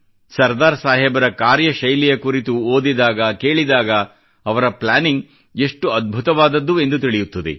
ಸರ್ದಾರ್ ಸಾಹೇಬರ ಕಾರ್ಯ ಶೈಲಿಯ ಕುರಿತು ಓದಿದಾಗಕೇಳಿದಾಗ ಅವರ ಪ್ಲಾನಿಂಗ್ ಎಷ್ಟು ಅದ್ಭುತವಾದದ್ದು ಎಂದು ತಿಳಿಯುತ್ತದೆ